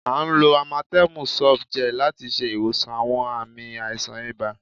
À ń lò amatem sof gel láti ṣe ìwòsàn àwọn ààmì àìsàn ibà